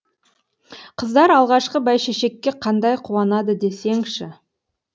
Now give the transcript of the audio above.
қыздар алғашқы бәйшешекке қандай қуанады десеңші